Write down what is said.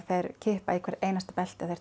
þeir kippa í hvert einasta belti